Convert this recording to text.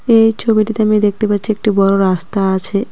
এই ছবিটিতে আমি দেখতে পাচ্ছি একটি বড় রাস্তা আছে।